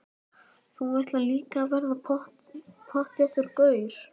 Þú ætlar líka að verða pottþéttur gaur.